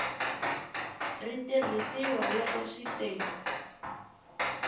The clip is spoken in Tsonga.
ri tirhisiwa loko swi te